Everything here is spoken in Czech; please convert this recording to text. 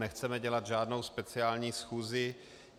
Nechceme dělat žádnou speciální schůzi.